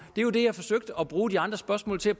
det er jo det jeg forsøgte at bruge de andre spørgsmål til at